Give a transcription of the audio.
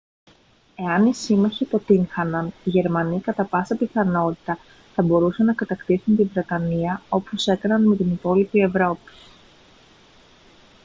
εάν οι σύμμαχοι αποτύγχαναν οι γερμανοί κατά πάσα πιθανότητα θα μπορούσαν να κατακτήσουν τη βρετανία όπως έκαναν με την υπόλοιπη ευρώπη